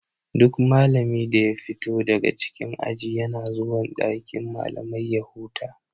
Duk malami da ya fito daga cikin aji yana zuwan dakin malamai ya huta.